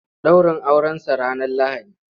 Ɗaurin Aurensa ranar Lahadi.